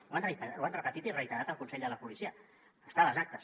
ho han repetit i reiterat al consell de la policia està a les actes